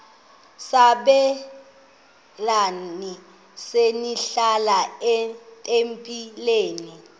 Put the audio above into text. sabelani zenihlal etempileni